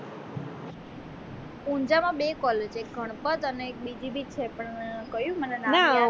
ઉંજાં માં બે collage છે એક ગણપત અને એક બીજી પણ છે કયું મને નામ